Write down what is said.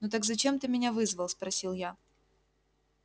ну так зачем ты меня вызвал спросил я